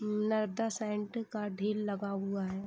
Narada sand का ढेर लगा हुआ है।